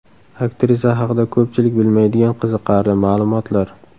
Aktrisa haqida ko‘pchilik bilmaydigan qiziqarli ma’lumotlar .